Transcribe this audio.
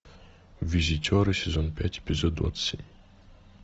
визитеры сезон пять эпизод двадцать семь